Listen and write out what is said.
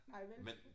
Nej vel